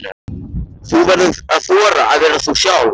Þú verður að þora að vera þú sjálf.